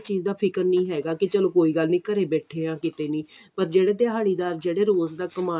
ਚੀਜ਼ ਦਾ ਫਿਕਰ ਨਹੀਂ ਹੈਗਾ ਕੀ ਚਲੋ ਕੋਈ ਗੱਲ ਨੀ ਘਰੇ ਬੈਠੇ ਆ ਕਿਤੇ ਨੀ ਪਰ ਜਿਹੜੇ ਦਿਹਾੜੀਦਾਰ ਜਿਹੜੇ ਰੋਜ ਦਾ ਕਮਾਨ ਆਲੇ